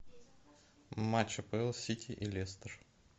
матч апл сити и лестер